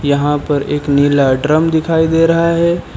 यहां पर एक नीला ड्रम दिखाई दे रहा है।